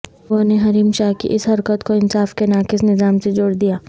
لوگوں نے حریم شاہ کی اس حرکت کو انصاف کے ناقص نظام سے جوڑ دیا